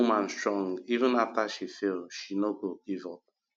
dat woman strong even after she fail she no give up